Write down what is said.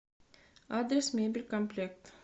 адрес мебель комплект